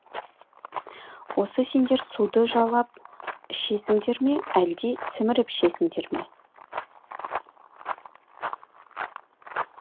осы сендер суды жалап ішесіңдер ме әлде сіміріп ішесіңдер ме